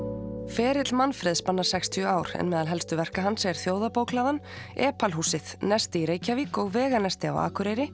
ferill Manfreðs spannar sextíu ár en meðal verka hans er Þjóðarbókhlaðan Epal húsið nesti í Reykjavík og veganesti á Akureyri